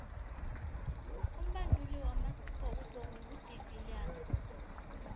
umbanduli wamabhokobhoko ngu de viliers